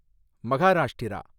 Maharashtra